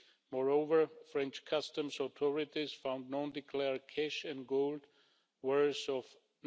Moreover, French customs authorities found non declared cash and gold worth EUR